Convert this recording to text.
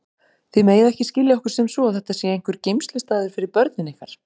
Þið megið ekki skilja okkur sem svo að þetta sé einhver geymslustaður fyrir börnin ykkar.